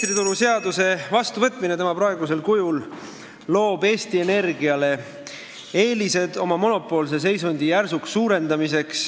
Elektrituruseaduse vastuvõtmine tema praegusel kujul loob Eesti Energiale eelised oma monopoolse seisundi järsuks tugevdamiseks.